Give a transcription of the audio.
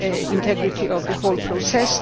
and the integrity of the whole